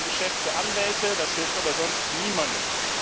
Das ist ein Geschäft für Anwälte, das hilft aber sonst niemandem.